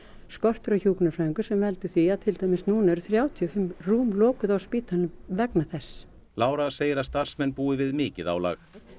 skortur á hjúkrunarfræðingum sem veldur því að til dæmis núna eru þrjátíu og fimm rúm lokuð á spítalanum vegna þess segir að starfsmenn búi við mikið álag